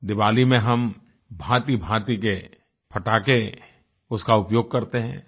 दीवाली में हम भांतिभांति के पटाखे उसका उपयोग करते हैं